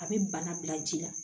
A bɛ bana bila ji la